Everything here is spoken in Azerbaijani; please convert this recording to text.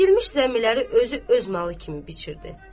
Əkilmiş zəmiləri özü öz malı kimi biçirdi.